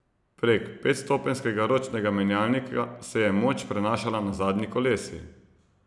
Prek petstopenjskega ročnega menjalnika se je moč prenašala na zadnji kolesi.